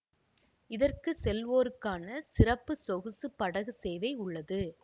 இதற்கு செல்வோருக்கான சிறப்பு சொகுசு படகு சேவை உள்ளது